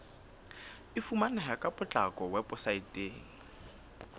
e fumaneha ka potlako weposaeteng